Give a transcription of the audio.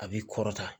A b'i kɔrɔta